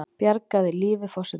Bjargaði lífi forsetans